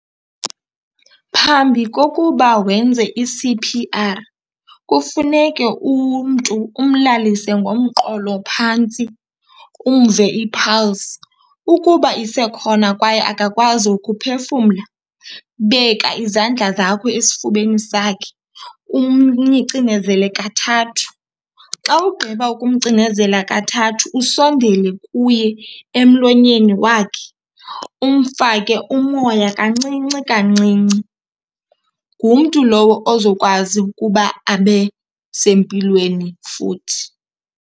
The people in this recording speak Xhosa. Phambi kokuba wenze i-C_P_R kufuneke umntu umlalise ngomqolo phantsi umve i-pulse. Ukuba isekhona kwaye akakwazi ukuphefumla, beka izandla zakho esifubeni sakhe umcinezele kathathu. Xa ugqiba ukumcinezela kathathu usondele kuye emlonyeni wakhe umfake umoya kancinci kancinci. Ngumntu lowo ozokwazi ukuba abe sempilweni futhi.